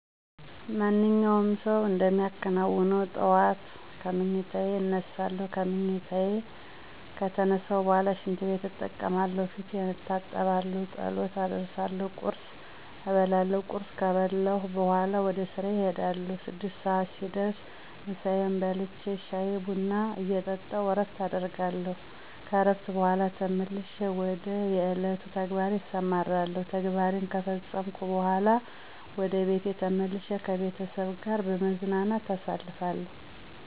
ማንኛውም ሰው እንደሚከናውነው ጠዋት ከምኝታየ እነሳለሁ። ከምኝታየ ከተነሳሁ በኋላ ሽንትቤት እጠቀማለሁ፣ ፊቴን እታጠባለሁ፣ ጸሎት አደርሳለሁ፣ ቁርስ እበላለሁ። ቁርስ ከበላሁ በኋላ ወደ ስራየ እሄዳለሁ። ስድስት ሰዓት ሲደርስ ምሳየን በልቼ ሻይ ቡና እየጠጣሁ እረፍት አደርጋለሁ። ከእረፍት በኋላ ተመልሼ ወደ የዕለቱ ተግባሬ እሰማራለሁ። ተግባሬ ከፈፀመኩ በኋላ ወደ ቤቴ ተመልሼ ከቤተሰብ ጋር በመዝናናት አሳልፋለሁ።